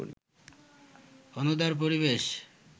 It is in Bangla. অনুদার পরিবেশ